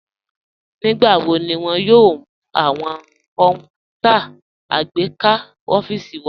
Nígbàwọ̀ ní wọn yóò mú awọn kọnpútà àgbékà ọfiísì wa?